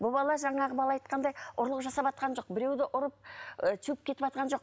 бұл бала жаңағы бала айтқандай ұрлық жасаватқан жоқ біреуді ұрып ы теуіп кетіватқан жоқ